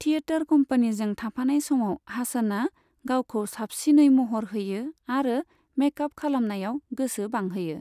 Theatre कम्पनिजों थाफानाय समाव हासनआ गावखौ साबसिनै महर होयो आरो मेकअप खालामनायाव गोसो बांहोयो।